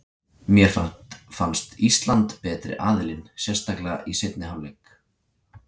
Mér fannst Ísland betri aðilinn, sérstaklega í seinni hálfleik.